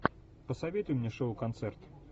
посоветуй мне шоу концерт